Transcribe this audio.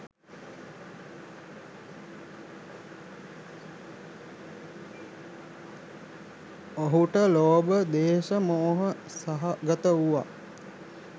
ඔහුට ලෝභ, ද්වේෂ, මෝහ සහගත වූ